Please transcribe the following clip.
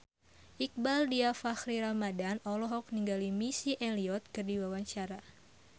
Iqbaal Dhiafakhri Ramadhan olohok ningali Missy Elliott keur diwawancara